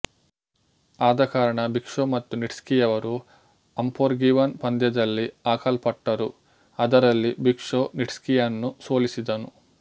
ಆದಕಾರಣ Big Show ಮತ್ತು Nitzki ರವರು ಅಂಫೊರ್ಗಿವನ್ ಪಂದ್ಯದಲ್ಲಿ ಹಾಕಲ್ಪಟ್ಟರು ಅದರಲ್ಲಿ ಬಿಗ್ ಶೊ ನಿಟ್ಸ್ಕಿಯನ್ನು ಸೋಲಿಸಿದನು